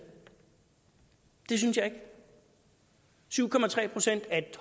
det synes jeg ikke syv procent er et